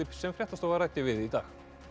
sem fréttastofa ræddi við í dag